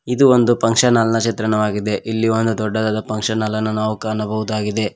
ಇದು ಒಂದು function hall ನ ಚಿತ್ರಣವಾಗಿದೆ ಇಲ್ಲಿ ಒಂದು ದೊಡ್ಡದಾದ ಹಾಲನ್ನು ಕಾಣಬಹುದಾಗಿದೆ.